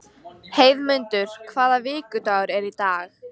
Heiðmundur, hvaða vikudagur er í dag?